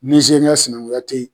Nizeriya sinankunya te yen.